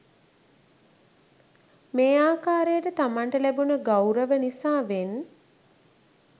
මේ ආකාරයට තමන්ට ලැබුණූ ගෞරව නිසාවෙන්